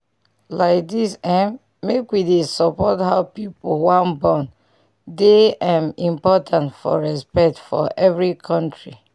like dis eh make wey dey support how pipu wan born dey um important for respect for every kontri